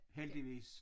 Heldigvis